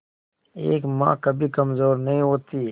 एक मां कभी कमजोर नहीं होती